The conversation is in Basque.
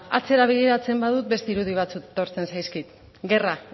atzera begiratzen badut beste irudi batzuk etortzen zaizkit guerra